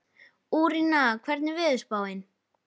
Úranía, hvernig er veðurspáin?